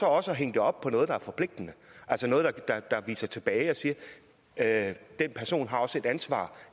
også hænge det op på noget der er forpligtende altså noget der viser tilbage og siger at den person også har et ansvar